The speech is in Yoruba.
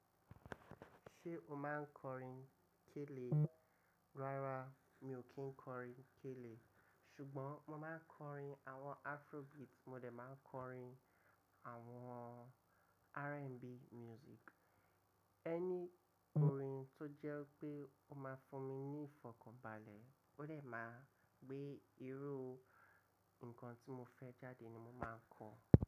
Ṣé o máa ń kọrin kélé? Rárá mi ò kí ń kọrin kélé. Ṣùgbọ́n mo máa ń kọrin àwọn Afrobeat mo lè máa kọrin àwọn RnB music. Ẹni kọrin tó jẹ́ pé ó máa fún mi ní ìfọ̀kànbalẹ̀, ó lè máa gbé irú nǹkan tí mo fẹ́ jáde ni mo máa ń kọ.